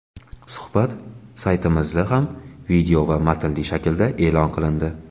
Suhbat saytimizda ham video va matnli shaklda e’lon qilindi .